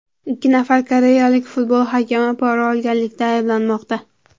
Ikki nafar koreyalik futbol hakami pora olganlikda ayblanmoqda.